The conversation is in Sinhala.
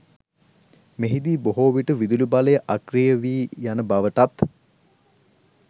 මෙහිදී බොහෝවිට විදුලිබලය අක්‍රිය වී යන බවටත්